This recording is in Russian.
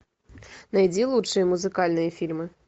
найди лучшие музыкальные фильмы